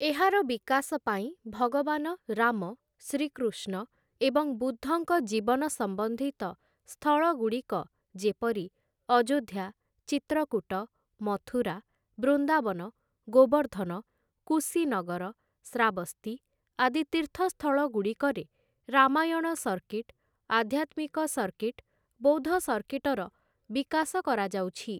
ଏହାର ବିକାଶ ପାଇଁ ଭଗବାନ ରାମ, ଶ୍ରୀକୃଷ୍ଣ ଏବଂ ବୁଦ୍ଧଙ୍କ ଜୀବନ ସମ୍ବନ୍ଧିତ ସ୍ଥଳଗୁଡ଼ିକ ଯେପରି ଅଯୋଧ୍ୟା, ଚିତ୍ରକୂଟ, ମଥୁରା, ବୃନ୍ଦାବନ, ଗୋବର୍ଦ୍ଧନ, କୁଶୀନଗର, ଶ୍ରାବସ୍ତୀ ଆଦି ତୀର୍ଥ ସ୍ଥଳଗୁଡ଼ିକରେ ରାମାୟଣ ସର୍କିଟ୍‌, ଆଧ୍ୟାତ୍ମିକ ସର୍କିଟ, ବୌଦ୍ଧ ସର୍କିଟର ବିକାଶ କରାଯାଉଛି ।